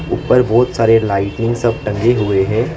ऊपर बहुत सारे लाइटिंग सब टंगे हुए हैं।